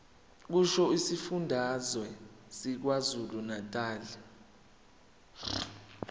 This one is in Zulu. kusho isifundazwe sakwazulunatali